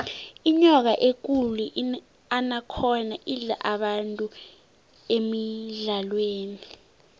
inyoka ekulu inakhonda idla abantu emidlalweni